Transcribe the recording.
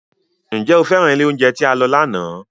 Ǹjẹ́ o féràn ilé oúnjẹ tí a lọ lánàá?